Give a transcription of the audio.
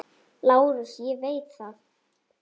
LÁRUS: Ég veit það.